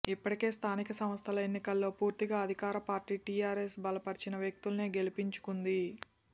ఇప్పటికే స్థానిక సంస్థల ఎన్నికల్లో పూర్తిగా అధికార పార్టీ టిఆర్ఎస్ బలపరిచిన వ్యక్తులనే గెలిపించుకుంది